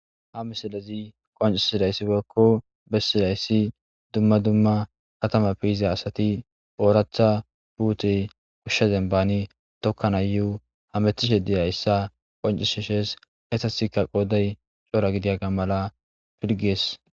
ha misilezi qoncishidayssi bekko bessidayssi dumma dumma katama piyiza asati ooratha puute kushshe zembani tokkan ayuu hametishe diyayssa qoncishishes hesasikka qoodey cora gidiyaga mala pilgees